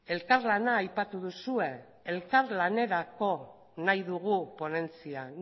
elkarlana aipatu duzue elkarlanerako nahi dugu ponentzia